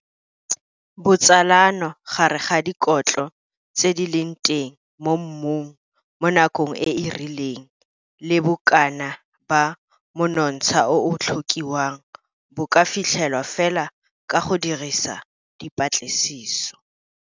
Botsalano gare ga dikotlo tse di leng teng mo mmung mo nakong e e rileng le bokana ba monontsha o o tlhokiwang bo ka fitlhelwa fela ka go dirisa dipatlisiso.